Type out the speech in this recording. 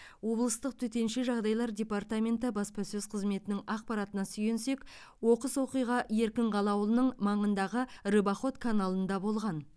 облыстық төтенше жағдайлар департаменті баспасөз қызметінің ақпаратына сүйенсек оқыс оқиға еркінқала ауылының маңындағы рыбоход каналында болған